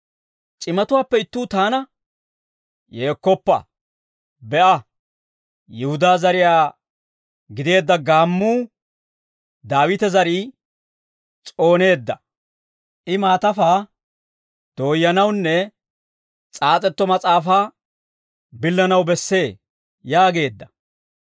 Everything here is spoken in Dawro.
C'imatuwaappe ittuu taana, «Yeekkoppa; be'a, Yihudaa zariyaa gideedda Gaammuu, Daawite zarii s'ooneedda. I maatafaa dooyyanawunne s'aas'etto mas'aafaa billanaw bessee» yaageedda.